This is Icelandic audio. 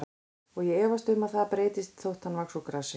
Og ég efast um að það breytist þótt hann vaxi úr grasi.